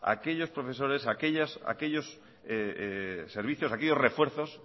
aquellos profesores aquellos servicios aquellos refuerzos